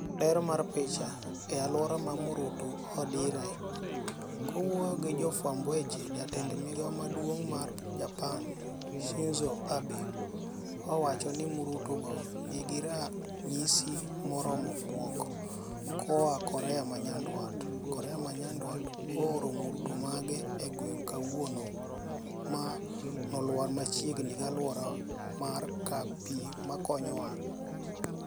Ler mar picha, E aluora ma marutu odire. Kowuoyo gi jofwamb weche , jatend migao maduongmar Japan, Shinzo Abe, owacho ni marutu go nigi ranyisi moromo bwok koa Korea ma nyandwat ''Korea ma nyandwat ooro marutu mage ang'wen kawuono ma nolwar machiegni gi aluora mar kar pii makonyowa.